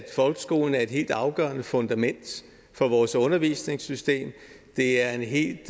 folkeskolen er et helt afgørende fundament for vores undervisningssystem det er en helt